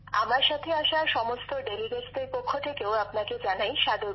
আমার সাথে আসা সমস্ত প্রতিনিধিদের পক্ষ থেকেও আপনাকে জানাই সাদর প্রণাম